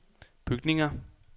bygninger